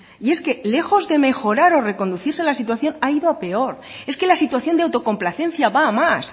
y es que lejos de mejorar o reconducirse la situación ha ido a peor es que la situación de autocomplacencia va a más